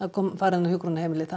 fara inn á hjúkrunarheimili að